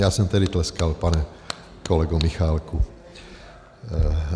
Já jsem tedy tleskal, pane kolego Michálku.